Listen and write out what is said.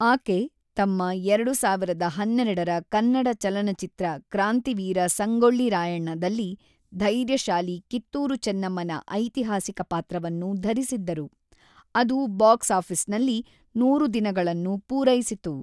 ಆಕೆ ತಮ್ಮ ಎರಡು ಸಾವಿರದ ಹನ್ನೆರಡರ ಕನ್ನಡ ಚಲನಚಿತ್ರ ಕ್ರಾಂತಿವೀರ ಸಂಗೊಳ್ಳಿ ರಾಯಣ್ಣದಲ್ಲಿ ಧೈರ್ಯಶಾಲಿ ಕಿತ್ತೂರು ಚೆನ್ನಮ್ಮನ ಐತಿಹಾಸಿಕ ಪಾತ್ರವನ್ನು ಧರಿಸಿದ್ದರು, ಅದು ಬಾಕ್ಸ್‌ ಆಫೀಸ್‌ನಲ್ಲಿ ನೂರು ದಿನಗಳನ್ನು ಪೂರೈಸಿತು.